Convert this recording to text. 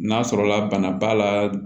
N'a sɔrɔla bana b'a la